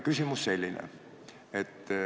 Küsimus on selline.